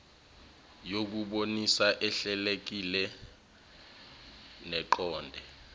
yokubonisana ehlelekile neqonde